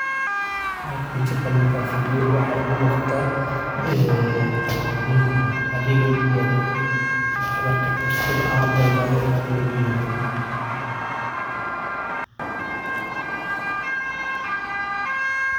Gaarsiinta waa adeeg muhiim ah oo kaalin weyn ka ciyaara xiriirka ganacsi iyo nolosha maalinlaha ah ee bulshada. Markay shirkadaha ama dadka gaarka ah alaabo ama adeegyo kala duwan u diraan goobaha kala duwan, waxay hubiyaan in badeecadahaasi.